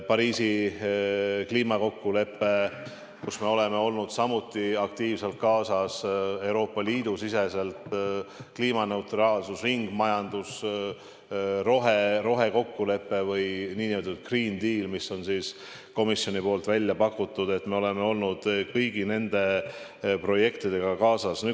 Pariisi kliimakokkuleppega oleme läinud samuti aktiivselt kaasa, Euroopa Liidu siseselt kliimaneutraalsus, ringmajandus, rohekokkulepe või nn green deal, mis on komisjonil välja pakutud – me oleme läinud kõigi nende projektidega kaasa.